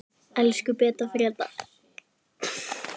Elsku Beta.